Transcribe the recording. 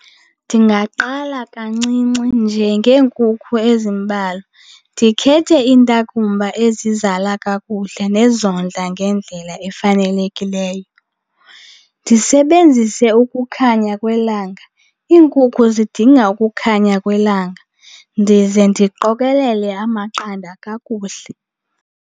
Ndingaqala kancinci nje ngeenkukhu ezimbalwa. Ndikhethe iintakumba ezizala kakuhle nezondla ngendlela efanelekileyo. Ndisebenzise ukukhanya kwelanga, iinkukhu zidinga ukukhanya kwelanga, ndize ndiqokelele amaqanda kakuhle.